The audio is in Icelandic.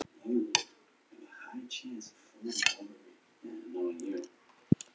Í fyrstu er allt matt.